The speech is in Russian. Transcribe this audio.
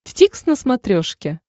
дтикс на смотрешке